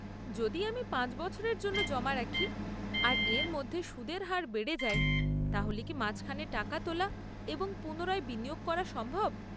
যদি আমি পাঁচ বছরের জন্য জমা রাখি, আর এর মধ্যে সুদের হার বেড়ে যায়, তাহলে কি মাঝখানে টাকা তোলা এবং পুনরায় বিনিয়োগ করা সম্ভব?